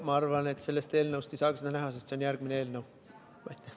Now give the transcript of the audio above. Ma arvan, et sellest eelnõust ei saagi seda näha, sest see on järgmises eelnõus.